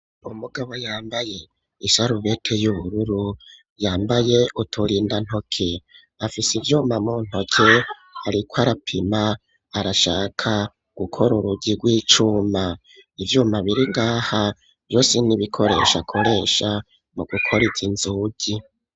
Umugabo yambaye isarubete y'ubururu yambaye uturinda ntoke, afise ivyuma mu ntoke ariko arapima arashaka gukora urugi rw'icuma ivyuma biringaha vyose n'ibikoresho akoresha mu gukora izo nzugi.